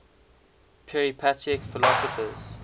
peripatetic philosophers